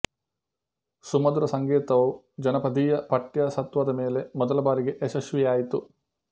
ಸುಮಧುರ ಸಂಗೀತವು ಜನಪದೀಯ ಪಠ್ಯ ಸತ್ವದ ಮೇಲೆ ಮೊದಲ ಬಾರಿಗೆ ಯಶಸ್ವಿಯಾಯಿತು